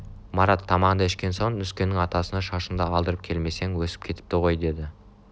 марат тамағыңды ішкен соң нүскеннің атасына шашынды алдырып келмесең өсіп кетіпті ғой деді